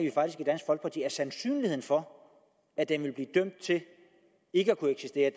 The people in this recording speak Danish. sandsynligheden for at den vil blive dømt til ikke at kunne eksistere